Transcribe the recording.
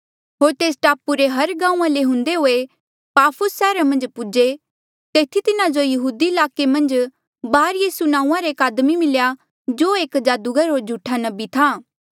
होर तेस टापू रे हर गांऊँआं ले हुंदे हुए पाफुस सैहरा मन्झ पौहुंचे तेथी तिन्हा जो यहूदिया ईलाके मन्झ बारयीसू नांऊँआं रा एक आदमी मिल्या जो एक जादूगर होर झूठा नबी था